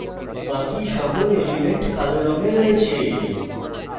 বাকি সকল elements কালো রঙে রয়েছে